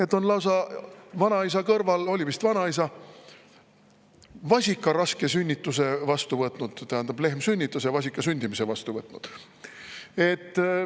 Ta on vanaisa kõrval – oli vist vanaisa – lausa vasika raske sünnituse vastu võtnud, tähendab, lehm sünnitas ja ta võttis vasika sünni vastu.